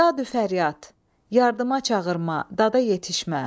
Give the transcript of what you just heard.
Dadü fəryad, yardıma çağırma, dada yetişmə.